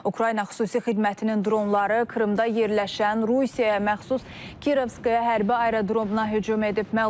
Ukrayna xüsusi xidmətinin dronları Krımda yerləşən Rusiyaya məxsus Kirovskaya hərbi aerodromuna hücum edib.